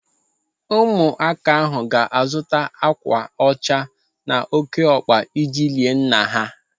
Ụmụaka ahụ ga-azụ akwa ọcha na ókéọkpa iji lie nna ha.